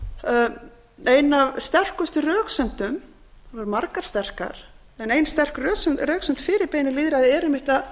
sterkustu röksemdum við höfum margar sterkar en ein sterk röksemd fyrir beinu lýðræði er einmitt að það